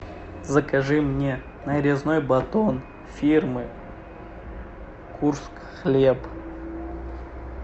закажи мне нарезной батон фирмы курск хлеб